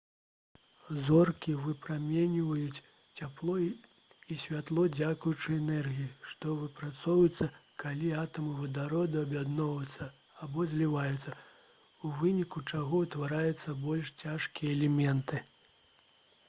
зоркі выпраменьваюць цяпло і святло дзякуючы энергіі што выпрацоўваецца калі атамы вадароду аб'ядноўваюцца або зліваюцца у выніку чаго ўтвараюцца больш цяжкія элементы